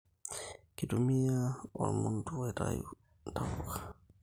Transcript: Kitumiai ormundu aitayu intapuka